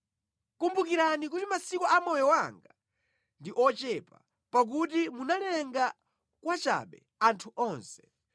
Kumbukirani kuti masiku a moyo wanga ndi ochepa pakuti munalenga kwachabe anthu onse!